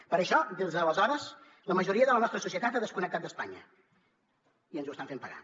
per això des d’aleshores la majoria de la nostra societat ha desconnectat d’espanya i ens ho estan fent pagar